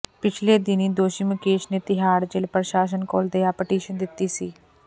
ਪਿਛਲੇ ਦਿਨੀਂ ਦੋਸ਼ੀ ਮੁਕੇਸ਼ ਨੇ ਤਿਹਾੜ ਜੇਲ ਪ੍ਰਸ਼ਾਸਨ ਕੋਲ ਦਯਾ ਪਟੀਸ਼ਨ ਦਿੱਤੀ ਸੀ